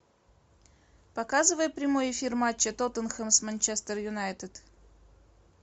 показывай прямой эфир матча тоттенхэм с манчестер юнайтед